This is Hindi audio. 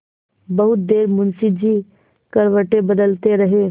बहुत देर मुंशी जी करवटें बदलते रहे